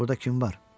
Burda kim var?